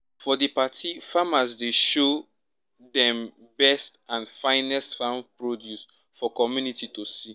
for di party farmers dey show dem best and finest farm produce for community to see